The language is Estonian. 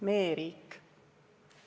Me e-riik.